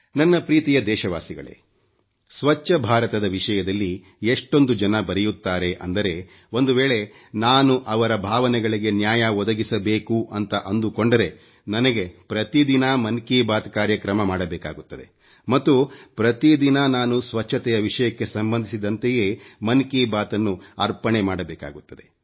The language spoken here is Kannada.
ನನ್ನ ಪ್ರೀತಿಯ ದೇಶವಾಸಿಗಳೇ ಸ್ವಚ್ಚ ಬಾರತ ದ ವಿಷಯದಲ್ಲಿ ಎಷ್ಟೊಂದು ಜನ ಬರೆಯುತ್ತಾರೆ ಅಂದರೆ ಒಂದು ವೇಳೆ ನಾನು ಅವರ ಭಾವನೆಗಳಿಗೆ ನ್ಯಾಯ ಒದಗಿಸಬೇಕು ಅಂತ ಅಂದುಕೊಂಡರೆ ನನಗೆ ಪ್ರತಿದಿನ ಮನ್ ಕಿ ಬಾತ್ ಕಾರ್ಯಕ್ರಮ ಮಾಡಬೇಕಾಗುತ್ತದೆ ಮತ್ತು ಪ್ರತಿದಿನ ನಾನು ಸ್ವಚ್ಚತೆಯ ವಿಷಯಕ್ಕೆ ಸಂಬಂಧಿಸಿದತೆಯೇ ಮನ್ ಕಿ ಬಾತ್ ಅನ್ನು ಅರ್ಪಣೆ ಮಾಡಬೇಕಾಗುತ್ತದೆ